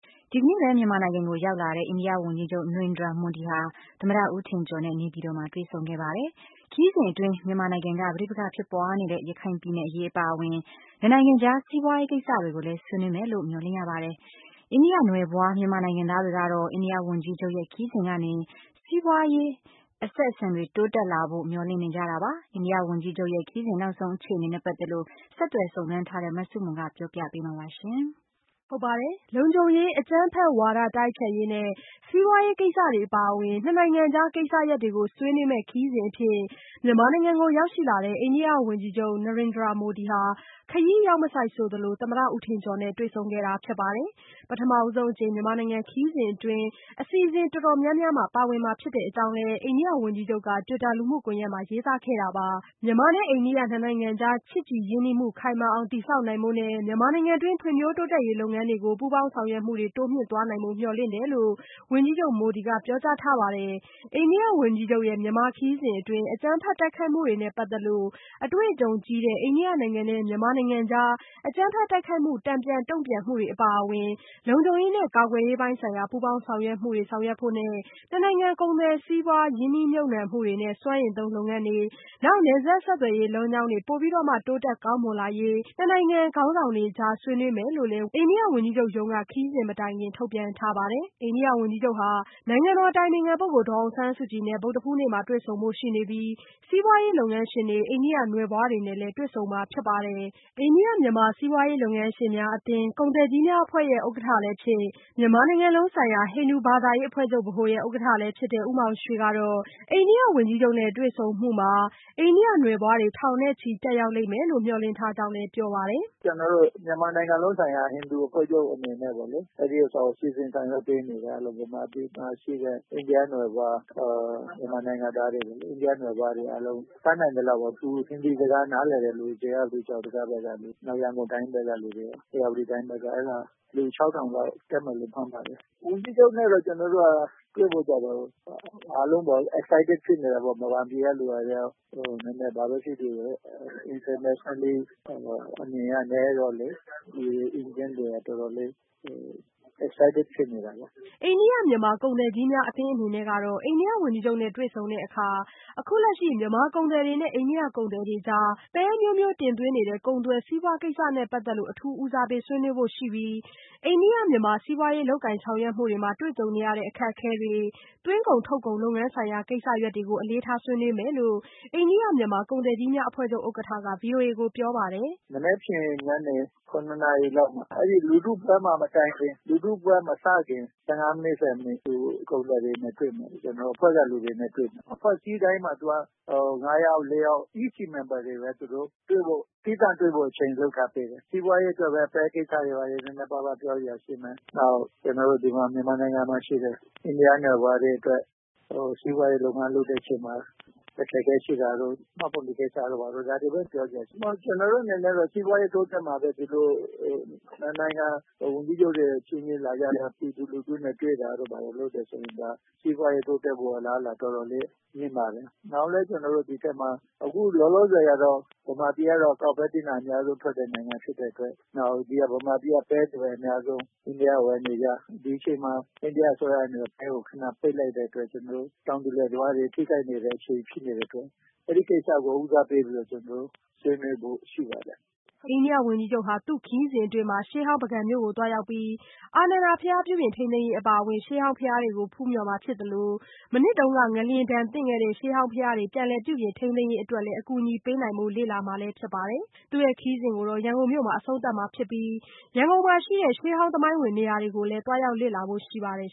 ဒီကနေ့ပဲ မြန်မာနိုင်ငံကို ရောက်ရှိလာတဲ့ အိန္ဒိယဝန်ကြီးချုပ် Narendra Modi ဟာ သမ္မတ ဦးထင်ကျော်နဲ့ နေပြည်တော်မှာ တွေ့ဆုံခဲ့ပါတယ်။ ခရီးစဉ်အတွင်း မြန်မာနိုင်ငံက ပဋိပက္ခဖြစ်ပွားနေတဲ့ ရခိုင်ပြည်နယ် အရေး အပါအဝင် ၂ နိုင်ငံကြား စီးပွားရေး ကိစ္စတွေကိုလည်း ဆွေးနွေးဖြစ်မယ်လို့ မျှော်လင့်ရပါတယ်။ အိန္ဒိယနွယ်ဖွား မြန်မာနိုင်ငံသားတွေကတော့ အိန္ဒိယဝန်ကြီးချုပ်ရဲ့ ခရီးစဉ်ကနေ စီးပွားရေး အဆက်အဆံတွေ တိုးတက်လာဖို့ မျှော်လင့်နေကြတာပါ။ အိန္ဒိယဝန်ကြီးချုပ်ရဲ့ ခရီးစဉ် နောက်ဆုံးအခြေအနေနဲ့ ပတ်သက်လို့ ဆက်သွယ်စုံစမ်းထားတဲ့ မဆုမွန်က ပြောပြပေးမှာ ဖြစ်ပါတယ်။ လုံခြုံရေး၊ အကြမ်းဖက်ဝါဒ တိုက်ဖျက်ရေးနဲ့ စီးပွားရေး ကိစ္စတွေ အပါအဝင် ၂ နိုင်ငံကြား ကိစ္စရပ်တွေကို ဆွေးနွေးမယ့် ခရီးစဉ်အဖြစ် မြန်မာနိုင်ငံကို ရောက်လာတဲ့ အိန္ဒိယဝန်ကြီးချုပ် Narendra Modi ဟာ ခရီးရောက်မဆိုက်ဆိုသလို သမ္မတ ဦးထင်ကျော်နဲ့ တွေ့ဆုံခဲ့တာ ဖြစ်ပါတယ်။ ပထမဆုံးအကြိမ် မြန်မာနိုင်ငံ ခရီးစဉ်အတွင်း အစီအစဉ်တော်တော်များများမှာ ပါဝင်မှာ ဖြစ်ကြောင်းလည်း အိန္ဒိယဝန်ကြီးချုပ်က Twitter လူမှုကွန်ယက်မှာ ရေးသားခဲ့တာပါ။ မြန်မာနဲ့ အိန္ဒိယနှစ်နိုင်ငံကြား ချစ်ကြည်ရင်းနှီးမှု ခိုင်မာအောင် တည်ဆောက်နိုင်ဖို့နဲ့ မြန်မာနိုင်ငံတွင်း ဖွံ့ဖြိုးတိုးတက်ရေး လုပ်ငန်းတွေကို ပူးပေါင်းဆောင်ရွက်မှုတွေ တိုးမြှင့်သွားနိုင်ဖို့ မျှော်လင့်တယ်လို့ ဝန်ကြီးချုပ် Modi ကပြောကြားထားပါတယ်။ အိန္ဒိယဝန်ကြီးချုပ်ရဲ့ မြန်မာခရီးစဉ်အတွင်း အကြမ်းဖက်တိုက်ခိုက်မှုတွေနဲ့ ပတ်သက်လို့ အတွေ့အကြုံကြီးတဲ့ အိန္ဒိယနိုင်ငံနဲ့ မြန်မာနိုင်ငံကြား အကြမ်းဖက်တိုက်ခိုက်မှု တန်ပြန်တုန့်ပြန်မှုတွေအပါအဝင် လုံခြုံရေးနဲ့ကာကွယ်ရေးပိုင်းဆိုင်ရာ ပူးပေါင်းဆောင်ရွက်မှုတွေ ဆောင်ရွက်ဖို့နဲ့ နှစ်နိုင်ငံကုန်သွယ်စီးပွား ရင်းနှီးမြုပ်နှံမှုတွေနဲ့ စွမ်းအင်သုံးလုပ်ငန်းတွေနဲ့ နယ်စပ်ဆက်သွယ်ရေး လမ်းကြောင်းတွေ ပိုပြီးတော့မှ တိုးတက်ကောင်းမွန်လာရေး နှစ်နိုင်ငံခေါင်းဆောင်တွေကြား ဆွေးနွေးမယ်လို့လည်း အိန္ဒိယဝန်ကြီးချုပ်ရုံးက ခရီးစဉ်မတိုင်ခင် ထုတ်ပြန်ထားပါတယ်။ အိန္ဒိယဝန်ကြီးချုပ်ဟာ နိုင်ငံတော်အတိုင်ပင်ခံပုဂ္ဂိုလ် ဒေါ်အောင်ဆန်းစုကြည်နဲ့လည်း ဗုဒ္ဓဟူးနေ့မှာ တွေ့ဆုံဖို့ ရှိနေပြီး၊ စီးပွားရေး လုပ်ငန်းရှင်တွေ၊ အိန္ဒိယနွယ်ဖွားတွေနဲ့လည်း တွေ့ဆုံမှာ ဖြစ်ပါတယ်။ အိန္ဒိယ-မြန်မာ စီးပွားရေးလုပ်ငန်းရှင်များအသင်း- ကုန်သည်ကြီးများအဖွဲ့ ဥက္ကဋ္ဌ လည်းဖြစ် မြန်မာနိုင်ငံလုံးဆိုင်ရာ ဟိန္ဒူဘာသာရေးအဖွဲ့ချုပ်ဗဟိုရဲ့ ဥက္ကဋ္ဌလည်းဖြစ်တဲ့ ဦးမောင်ရွှေ ကတော့ အိန္ဒိယ ဝန်ကြီးချုပ်နဲ့ တွေ့ဆုံမှုမှာ ထောင်ချီပါဝင်လိမ့်မယ်လို့ မျှော်လင့်ထားကြောင်း ပြောပါတယ်။ “ကျနော်တို့ မြန်မာနိုင်ငံလုံးဆိုင်ရာ ဟိန္ဒူအဖွဲ့ချုပ်အနေနဲ့ပေါ့လေ ဒီဟာကို စီစဉ်ဆောင်ရွက်ပေးနေတယ်။ မြန်မာပြည်မှာရှိတဲ့ အိန္ဒိယနွယ်ဖွား မြန်မာနိုင်ငံသားတွေအားလုံး တတ်နိုင်သလောက်သူ Hindi စကားနားလည်တဲ့သူ နောက်ရန်ကုန်တိုင်းဘက်ကလူတွေ၊ နောက် ဧရာဝတီတိုင်းဘက်က လူ ၆၀၀၀ လောက်တက်မယ်လို့မှန်းပါတယ်။ ဝန်ကြီးချုပ်နဲ့က ကျနေ်ာတို့ကတွေ့ဖို့ကျတော့ အားလုံး Excited ဖြစ်နေတယ်ပေါေ့နာ် မြန်မာပြည်ကလူတွေလည်း နည်းနည်း ဘာပဲဖြစ်ဖြစ်ပေါ့လေ Indian တွေကတော့တော်တော်လေး excited ဖြစ်နေတာပေါ့လေ။” အိန္ဒိယ-မြန်မာ ကုန်သည်ကြီးများအသင်းအနေနဲ့ကတော့ အိန္ဒိယဝန်ကြီးချုပ်နဲ့တွေ့ဆုံတဲ့အခါ အခုလက်ရှိ မြန်မာကုန်သည်တွေနဲ့ အိန္ဒိယကုန်သည်တွေကြား ပဲအမျိုးမျိုး တင်သွင်းနေတဲ့ ကုန်သွယ်စီးပွားကိစ္စနဲ့ပတ်သက်လို့ အထူးဦးစားပေးဆွေးနွေးဖို့ရှိပြီး အိန္ဒိယ-မြန်မာ စီးပွားရေးလုပ်ကုင်ဆောင်ရွက်မှုတွေမှာ တွေ့ကြုံနေရတဲ့အခက်အခဲတွေ သွင်းကုန်ထုတ်ကုန်လုပ်ငန်းဆိုင်ရာ ကိစ္စတွေကို အလေးထားဆွေးနွေးမယ်လို့ အိန္ဒိယ-မြန်မာ ကုန်သည်ကြီးများအဖွဲ့ဥက္ကဋ္ဌ ဗွီအိုအေမြန်မာပိုင်းကိုပြောပါတယ်။ “မနက်ဖြစ်ညနေ ၇ နာရီလောက်မှာ အဲဒီလူထုပွဲမတိုင်ခင် လူထုပွဲမစခင် ၁၅ မိနစ်၊ ၁၀ မိနစ်လောက် ကုန်သည်တွေနဲ့ တွေ့မယ် ကျနော်တို့ အဖွဲ့ကလူတွေနဲ့ တွေ့မယ်။ အဖွဲ့အစည်းတိုင်းမှာသူက ၅ ယောက် ၄ ယောက် EC member တွေပဲ သူတို့ သီးသန့်တွေ့ဖို့အချိန်လုပ်ထားပေးတယ်။ စီးပွားရေးအတွက် ပဲကိစ္စတွေနည်းနည်းပါးပါးပြောစရာတွေရှိမယ်နောက်ပြီး ကျနော်တို့မြန်မာနိုင်ငံမှာရှိတဲ့ အိန္ဒိယနွယ်ဖွားတွေအတွက် စီးပွားရေးလုပ်ငန်းလုပ်တဲ့အချိန်မှာ အခက်အခဲရှိတာတို့ မှတ်ပုံတင်ကိစ္စတို့ ဒါတွေပဲ ပြောစရာရှိတယ်။ ကျနော်တို့အနေနဲ့ကတော့ စီးပွားရေးတိုးတက်မှပဲ ၂ နိုင်ငံ ဝန်ကြီးချုပ်တွေအချင်းချင်းလာပြီး ပြည်သူလူထုနဲ့တွေ့တာ တို့ဆိုရင် စီးပွားရေးတိုးတက်ဖို့အလားအလာတော်တော်လေး မြင်ပါတယ်၊ နောက်လည်းကျနော်တို့ ဒီအထဲမှာ အခုလောလောဆည်ကတော့ မြန်မာပြည်ကတော့ ကောက်ပဲသီးနှံအများဆုံးထွက်တဲ့ နိုင်ငံဖြစ်တဲ့အတွက် ဒီမြန်မာပြည်က ပဲကိုပဲ အများဆုံး အိန္ဒိယက ဝယ်နေကြ၊ ဒီအချိန်မှာ အိန္ဒိယက ပဲကို ခဏပိတ်လိုက်တဲ့အခါကျတော့ ကျနော်တို့ တောင်သူလယ်သမားတွေ ထိခိုက်နေတဲ့အချိန်ဖြစ်နေတဲ့အတွက် အဲဒီကိစ္စကို ဦးစားပေးပြီးတော့ ကျနော်တို့ဆွေးနွေးဖို့ရှိပါတယ်။” အိန္ဒိယဝန်ကြီးချုပ်ဟာ သူ့ခရီးစဉ်အတွင်း ရှေးဟောင်းပုဂံမြို့ကို သွားရောက်ပြီး အာနန္ဒာ ဘုရားပြုပြင်ထိန်းသိမ်းရေးအပါအဝင် ရှေးဟောင်းဘုရားတွေကို ဖူးမြှော်မှာဖြစ်သလို မနှစ်က ငလျင်ဒဏ်သင့် ရှေးဟောင်းဘုရားတွေကို ပြန်လည်ပြုပြင်ထိန်းသိမ်းရေးအတွက် အကူညီပေးဖို့လည်း လေ့လာမှာဖြစ်ပါတယ်။ သူ့ခရီးစဉ်ကို ရန်ကုန်မြို့မှာ အဆုံးသတ်မှာဖြစ်ပြီး ရန်ကုန်မှာရှိတဲ့ ရှေးဟောင်းသမိုင်းဝင်နေရာတွေကိုလည်း သွားလေ့လာဖို့ရှိပါတယ်